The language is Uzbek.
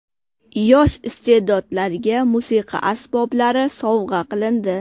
Yosh iste’dodlarga musiqa asboblari sovg‘a qilindi.